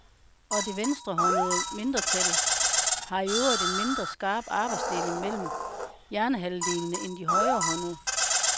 Og det venstrehåndede mindretal har i øvrigt en mindre skarp arbejdsdeling mellem hjernehalvdelene, end de højrehåndede.